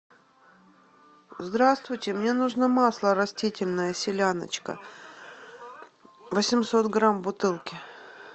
здравствуйте мне нужно масло растительное селяночка восемьсот грамм в бутылке